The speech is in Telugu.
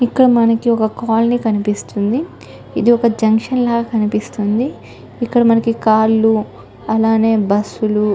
మనకి ఒక కాలనీ కనిపిస్తుంది. ఇది ఒక జంక్షన్ లా కనిపిస్తుంది. ఇక్కడ మనకి కార్లు అలానే బస్సులు --